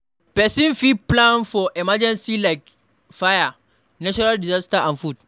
person fit plan for emergency like fire, natural disaster and flood